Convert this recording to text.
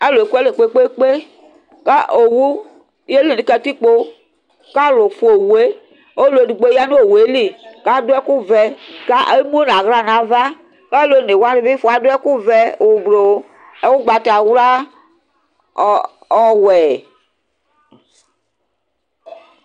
Alʋ ekʋ alɛ kpe kpe kpe kʋ owʋ yeli nʋ katikpo kʋ alʋ fua owʋe ɔlʋ edigbo yanʋ owʋeli kʋ adʋ ɛkʋvɛ emenʋ aɣla nʋ ava kʋ alʋ onewani fua adʋ ɛkʋvɛ, ʋblʋ, ʋgbatawla, ɔwɛ